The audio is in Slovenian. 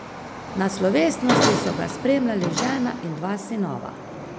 Na slovesnosti so ga spremljali žena in dva sinova.